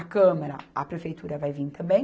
A Câmara, a Prefeitura vai vir também.